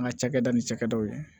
An ka cakɛda ni cakɛdaw ye